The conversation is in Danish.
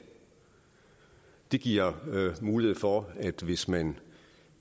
det giver mulighed for at hvis man